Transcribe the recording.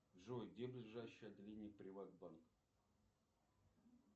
джой где ближайшее отделение приватбанка